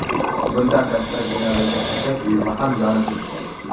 Bundan tashqari, binodagi xashak uyumi ham yonib ketgan.